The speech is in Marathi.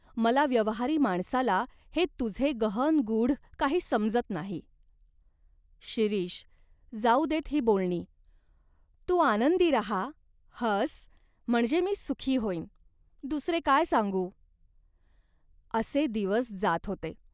मला व्यवहारी माणसाला हे तुझे गहन गूढ काही समजत नाही." "शिरीष, जाऊ देत ही बोलणी. तू आनंदी राहा, हस, म्हणजे मी सुखी होईन, दुसरे काय सांगू ?" असे दिवस जात होते.